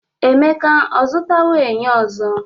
Emeka ọ zụtawo enyo ọzọ?